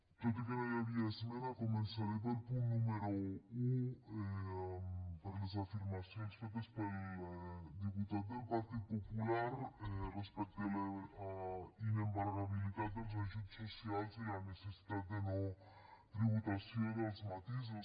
tot i que no hi havia esmena començaré pel punt número un per les afirmacions fetes pel diputat del partit popular respecte a la inembargabilitat dels ajuts socials i la necessitat de no tributació dels matisos